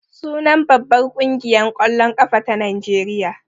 Sunan babbar ƙungiyar ƙwallon ƙafa ta Najeriya.